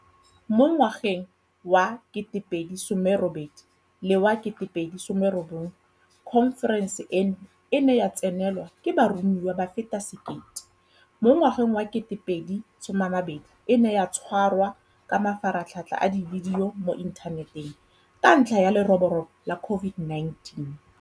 Mo ngwageng wa 2018 le wa 2019 khonferense eno e ne ya tsenelwa ke baromiwa ba feta sekete, mo ngwageng wa 2020 e ne ya tshwarwa ka mafaratlhatlha a dibidio mo inthaneteng ka ntlha ya leroborobo la COVID19.